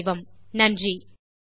GeoGebra ஐ ஆராய்ந்து மகிழுங்கள்